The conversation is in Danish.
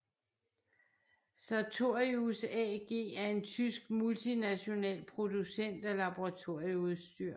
Sartorius AG er en tysk multinational producent af laboratorieudstyr